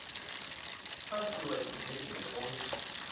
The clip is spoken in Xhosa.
asiwa esibhedlele onke